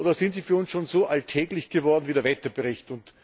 Oder sind sie für uns schon so alltäglich geworden wie der Wetterbericht?